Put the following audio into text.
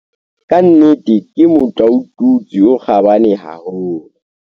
Ka nnete ke motlaotutswe o kgabane haholo.